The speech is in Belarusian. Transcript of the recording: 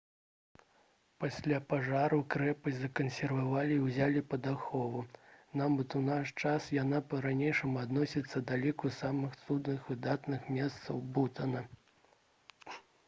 пасля пажару крэпасць закансервавалі і ўзялі пад ахову нават у наш час яна па-ранейшаму адносіцца да ліку самых цудоўных выдатных мясцін бутана